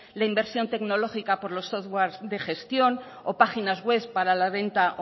la inversión tecnológica por los softwares de gestión o páginas webs para la venta